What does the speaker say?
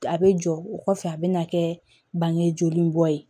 A bɛ jɔ o kɔfɛ a bɛ na kɛ bange joli bɔ ye